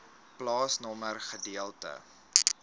plaasnommer gedeelte